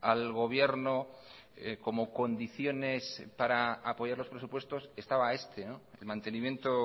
al gobierno como condiciones para apoyar los presupuestos estaba este el mantenimiento